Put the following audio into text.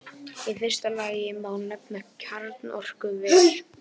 Í fyrsta lagi má nefna kjarnorkuver.